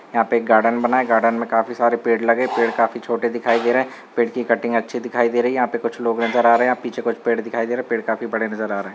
यहाँ पे एक गार्डन बना गार्डन में काफी सारे पेड़ लगे पेड़ काफी छोटे दिखाई दे रहे है पेड़ की कटिंग अच्छी दिखाई दे रही है यहा पे कुछ लोग नजर आ रहे है यहाँ कुछ पेड़ दिखाई दे रहे पेड़ काफी बड़े नजर आ रहे।